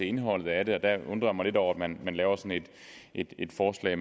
indholdet af det og der undrer jeg mig lidt over at man laver sådan et forslag